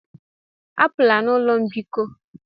Apụla n'ụlọ mbikọ!